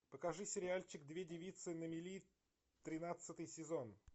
покажи сериальчик две девицы на мели тринадцатый сезон